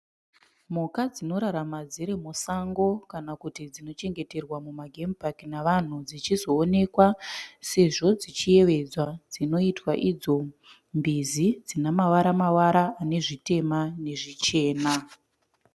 Mhuka dzinorarama dzirimusango kana kuti dzinochengetewa muma gemupaki nevanhu, dzichizoonekwa sezvo dzichiyevedzwa. Dzinoitwa idzo mbizi dzine mavara-mavara anezvitema nezvichena.